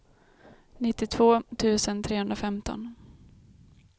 nittiotvå tusen trehundrafemton